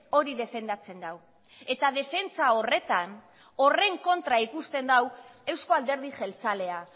hori defendatzen du eta defentsa horretan horren kontra ikusten du euzko alderdi jeltzalea